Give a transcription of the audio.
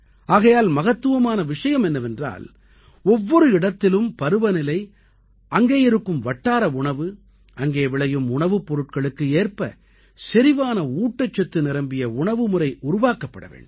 ஆகையால் மகத்துவமான விஷயம் என்னவென்றால் ஒவ்வொரு இடத்திலும் பருவநிலை அங்கே இருக்கும் வட்டார உணவு அங்கே விளையும் உணவுப் பொருட்களுக்கு ஏற்ப செரிவான ஊட்டச்சத்து நிரம்பிய உணவுமுறை உருவாக்கப்பட வேண்டும்